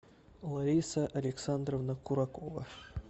лариса александровна куракова